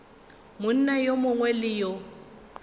monna yo mongwe le yo